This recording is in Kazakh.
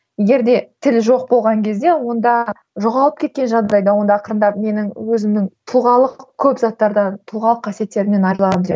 егер де тіл жоқ болған кезде онда жоғалып кеткен жағдайда онда ақырындап менің өзімнің тұлғалық көп заттардан тұлғалық қасиеттермен